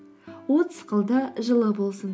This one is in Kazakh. от сықылды жылы болсын